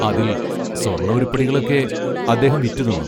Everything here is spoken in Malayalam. അതിൽ സ്വർണ്ണ ഉരുപ്പടികളൊക്കെ അദ്ദേഹം വിറ്റു തിന്നു.